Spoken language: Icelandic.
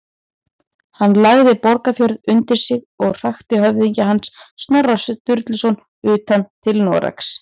Hann lagði Borgarfjörð undir sig og hrakti höfðingja hans, Snorra Sturluson, utan til Noregs.